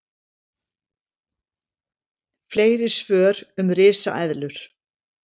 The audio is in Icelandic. Fleiri svör um risaeðlur: